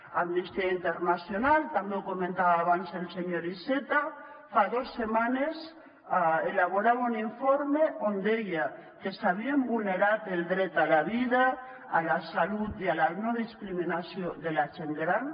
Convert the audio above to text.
amnistia internacional també ho comentava abans el senyor iceta fa dos setmanes elaborava un informe on deia que s’havien vulnerat el dret a la vida a la salut i a la no discriminació de la gent gran